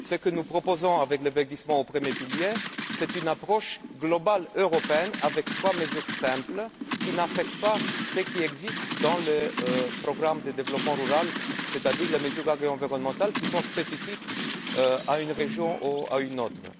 Ce que nous proposons avec le verdissement du premier pilier, c'est une approche globale européenne avec trois mesures simples qui n'affectent pas ce qui existe dans le programme de développement rural, c'est à dire les mesures agri environnementales, qui sont spécifiques à une région ou à une autre.